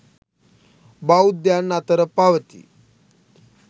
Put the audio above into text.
බෞද්ධයන් අතර පවතී.